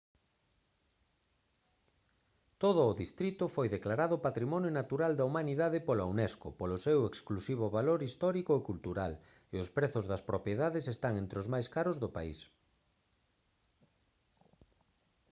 todo o distrito foi declarado patrimonio natural da humanidade pola unesco polo seu exclusivo valor histórico e cultural e os prezos das propiedades están entre o máis caros do país